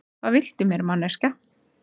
Hvað viltu mér, manneskja?